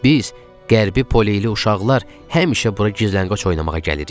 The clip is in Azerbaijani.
Biz qərbi poleyli uşaqlar həmişə bura gizlənqaç oynamağa gəlirik.